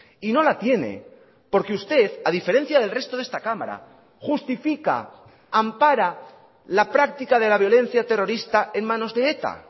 y no la tiene porque usted a diferencia del resto de esta cámara justifica ampara la práctica de la violencia terrorista en manos de eta